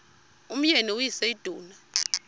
umyeni uyise iduna